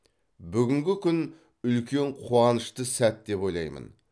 бүгінгі күн үлкен қуанышты сәт деп ойлаймын